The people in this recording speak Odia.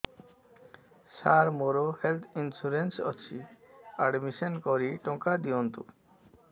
ସାର ମୋର ହେଲ୍ଥ ଇନ୍ସୁରେନ୍ସ ଅଛି ଆଡ୍ମିଶନ କରି ଟଙ୍କା ଦିଅନ୍ତୁ